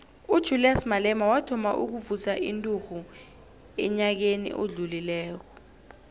ujulias malema wathoma ukuvusa inturhu enyakeni odlulileko